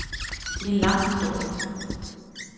Det er en lang historie.